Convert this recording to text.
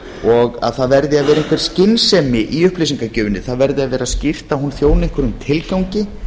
og að það verði að vera einhver skynsemi í upplýsingagjöfinni það verði að vera skýrt að hún þjóni einhverjum tilgangi